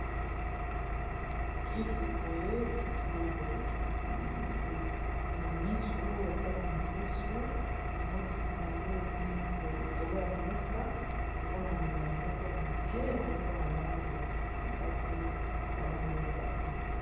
kisi boye kisi ezali kisi neti ya misu oyo batiaka na misu yango kisi yango eza neti boyelikolo ya mesa eza na molami moko ya moke yango eza na langi ya bozinga pe ya langi neti ya pumbe